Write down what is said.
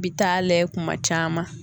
bi taa layɛ kuma caman.